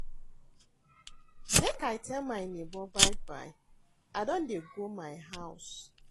Make I tell my nebor bye-bye, I don dey go my house.